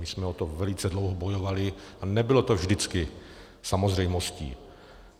My jsme o to velice dlouho bojovali a nebylo to vždycky samozřejmostí.